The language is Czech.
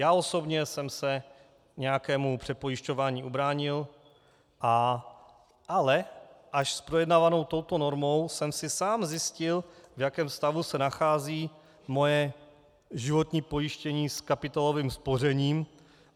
Já osobně jsem se nějakému přepojišťování ubránil, ale až s projednávanou touto normou jsem si sám zjistil, v jakém stavu se nachází moje životní pojištění s kapitálovým spořením.